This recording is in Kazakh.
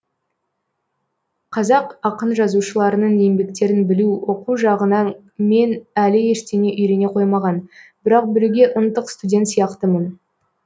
қазақ ақын жазушыларының еңбектерін білу оқу жағынан мен әлі ештеңе үйрене қоймаған бірақ білуге ынтық студент сияқтымын